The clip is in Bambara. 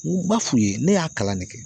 N b'a f'u ye ne y'a kalan ne kɛ.